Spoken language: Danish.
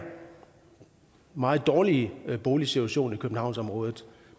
meget dårlige boligsituation i københavnsområdet